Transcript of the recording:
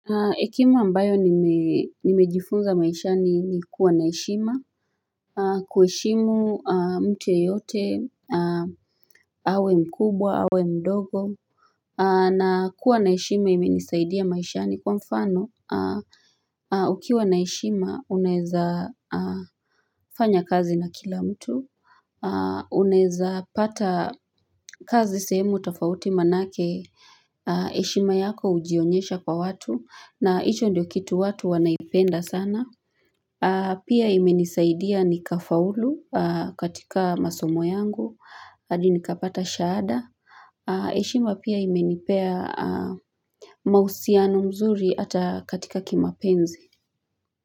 Hekima ambayo nimejifunza maishani ni kuwa na heshima. Kuishimu mtu yeyote. Awe mkubwa, awe mdogo. Na kuwa naheshima imenisaidia maishani kwa mfano. Ukiwa naheishima, uneza fanya kazi na kila mtu. Unaeza pata kazi sehemu tofauti manake. Heshima yako hujionyesha kwa watu na icho ndio kitu watu wanaipenda sana Pia imenisaidia nikafaulu katika masomo yangu hadi nikapata shahada heshima pia imenipea mahusiano mzuri hata katika kimapenzi.